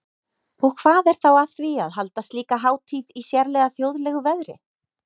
Og hvað er þá að því að halda slíka hátíð í sérlega þjóðlegu veðri?